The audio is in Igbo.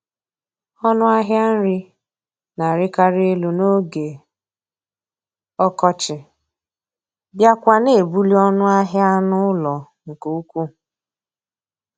Ọnụ ahịa nri na-arịkarị elu n'oge ọkọchị, bịakwa na-ebuli ọnụ ahịa anụ ụlọ nke ukwuu